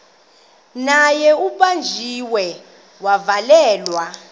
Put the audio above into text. naye ubanjiwe wavalelwa